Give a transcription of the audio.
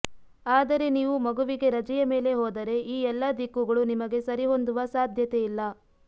ಆದರೆ ನೀವು ಮಗುವಿಗೆ ರಜೆಯ ಮೇಲೆ ಹೋದರೆ ಈ ಎಲ್ಲ ದಿಕ್ಕುಗಳು ನಿಮಗೆ ಸರಿಹೊಂದುವ ಸಾಧ್ಯತೆಯಿಲ್ಲ